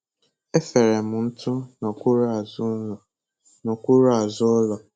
E fere m ntụ n'ọkwụrụ azụ ụlọ. n'ọkwụrụ azụ ụlọ.